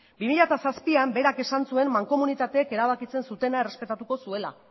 bi mila zazpian berak esan zuen mankomunitateek erabakitzen zutena errespetatuko zuela